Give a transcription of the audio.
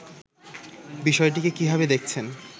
বিষয়টিকে কিভাবে দেখছেন